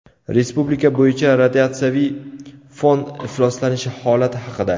Respublika bo‘yicha radiatsiyaviy fon ifloslanishi holati haqida.